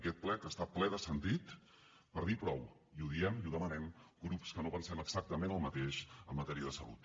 aquest ple que està ple de sentit per dir prou i ho diem i ho demanem grups que no pensem exactament el mateix en matèria de salut